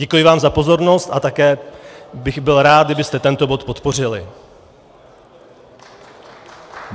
Děkuji vám za pozornost a také bych byl rád, kdybyste tento bod podpořili.